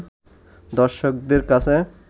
দর্শকদের কাছে